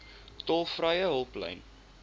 tolvrye hulplyn